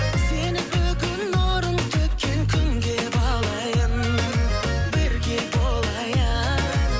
сені бүгін нұрын төккен күнге балайын бірге болайын